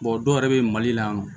dɔw yɛrɛ bɛ yen mali la yan nɔ